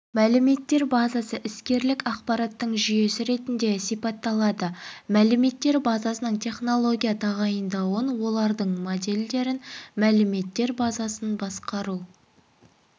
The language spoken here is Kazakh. мәліметтер базасы іскерлік ақпараттың жүйесі ретінде сипатталады мәліметтер базасының технология тағайындауын олардың модельдерін мәліметтер базасын басқару